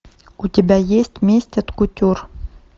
у тебя есть месть от кутюр